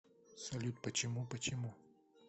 салют почему почему